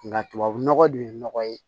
Nka tubabu nɔgɔ dun ye nɔgɔ ye